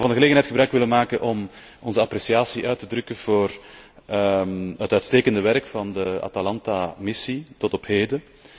Ik zou van de gelegenheid gebruik willen maken om onze appreciatie uit te drukken voor het uitstekende werk van de Atalanta missie tot op heden.